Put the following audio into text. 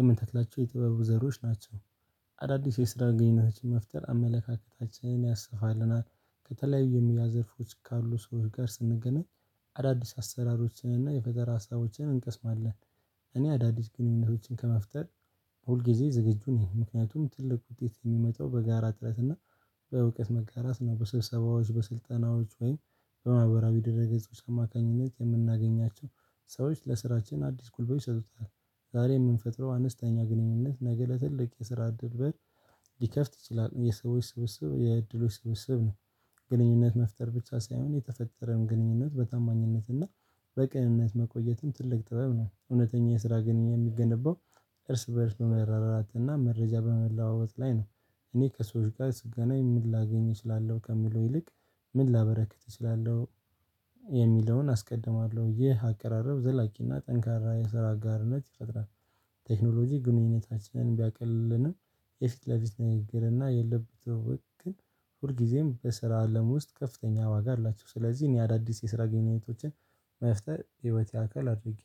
የምንተክላቸው የጥበብ ዘሮች ናቸው። አዳዲስ የስራ ግንኙነታችን መፍጠር አመለካከታችንን ያሰፋልናል ከተለያዩ የሙያ ዘርፎች ካሉ ሰዎች ጋር ስንገናኝ አዳዲስ አሰራሮችንና የፈጠራ ሀሳቦችን እንቀስማለን። እኔ አዳዲስ ግንኙነቶችን ከመፍጠር ሁልጊዜ ዝግጁ ነኝ። ምክንያቱም ትልቅ ውጤት የሚመጣው በጋራ ጥረት እና በእውቀት መጋራት እና በስብሰባዎች በስልጠናዎች ወይም በማህበራዊ ድረ ገጾች አማካኝነት የምናገኛቸው ሰዎች ለስራችን አዲስ ቁልቁል ይሰጡታል። ዛሬ የምንፈጥረው አነስተኛ ግንኙነት ነገ ለትልቅ የስራ እድል በል ሊከፍት ይችላል የሰዎች ስብስብ የእድሎች ስብስብ ነው። ግንኙነት መፍጠር ብቻ ሳይሆን የተፈጠረም ግንኙነት በታማኝነት እና በቅንነት መቆየትም ትልቅ ጥበብ ነው። እውነተኛ የስራ ግንኙነት የሚገነባው እርስ በእርስ በመረዳዳት እና መረጃ በመለዋወጥ ላይ ነው። እኔ ከሰዎች ጋር ስገናኝ ምን ላገኝ እችላለሁ ከምለው ይልቅ ምን ላበረክት እችላለሁ። የሚለውን አስቀድማለሁ ይህ አቀራረብ ዘላቂና ጠንካራ የስራ አጋርነት ይፈጥራል። ቴክኖሎጂ ግንኙነታችንን ቢያቀልልንም የፊት ለፊት ንግግርና የለበትም ወግ ግን ሁል ጊዜም በስራ አለም ውስጥ ከፍተኛ ዋጋ አላቸው። ስለዚህ እኔ አዳዲስ የስራ ግንኙነቶችን መፍጠር ህይወት አክል አድርጊያለሁ